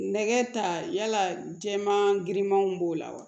Nɛgɛ ta yala jɛma girimanw b'o la wa